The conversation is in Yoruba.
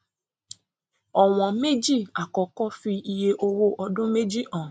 ọwọn méjì àkọkọ fi iye owó ọdún méjì hàn